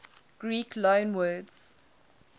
greek loanwords